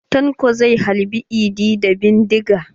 Tanko zai halbe idi da bindiga.